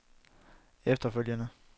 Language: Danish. efterfølgende